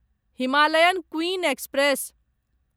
Himalayan queen express